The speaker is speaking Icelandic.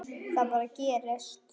Það bara gerist.